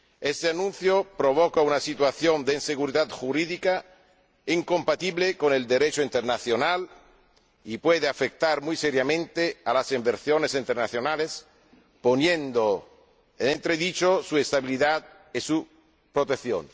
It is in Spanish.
Ese anuncio provoca una situación de inseguridad jurídica incompatible con el Derecho internacional y puede afectar muy seriamente a las inversiones internacionales, poniendo en entredicho su estabilidad y su protección.